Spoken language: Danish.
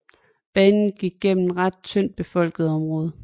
Banen gik gennem ret tyndt befolkede områder